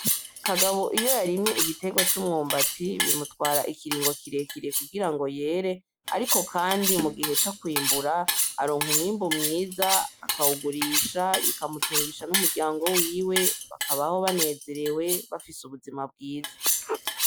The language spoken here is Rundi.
Kagabo iyo yarimye igiterwa c’umwubati bimutwara ikiringo kirekire kungira ngo yere .Ariko kandi mugihe cokwibura aronka umwibu mwiza akawugurisha bika mutungisha n’umuryango wiwe bakabaho banezerewe bafise ubuzima bwiza.